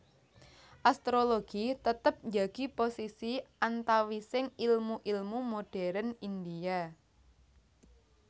Astrologi tetep njagi posisi antawising ilmu ilmu modérn India